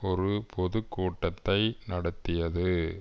ஒரு பொது கூட்டத்தை நடத்தியது